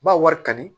Ba wari kani